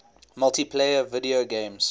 multiplayer video games